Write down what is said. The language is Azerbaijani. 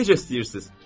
Necə istəyirsiniz?